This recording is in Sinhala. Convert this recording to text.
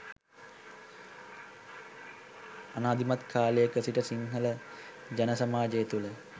අනාදිමත් කාලයක සිට සිංහල ජන සමාජය තුළ